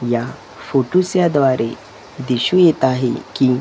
या फोटोच्या द्वारे दिसू येत आहे की--